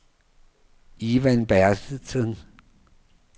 Ivan Bertelsen